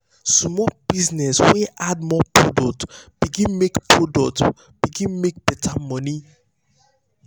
the small business wey add more product begin make product begin make better money.